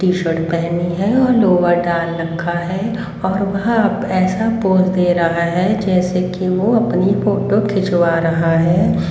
T shirt पहनी हैं और लोअर डाल रखा है और वह अप ऐसा पोज दे रहा है जैसे कि वो अपनी फोटो खिंचवा रहा है।